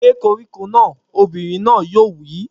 Gé koríko náà! Obìnrin náà yóò wí